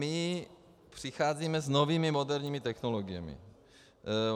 My přicházíme s novými, moderními technologiemi.